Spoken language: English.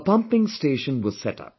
A pumping station was set up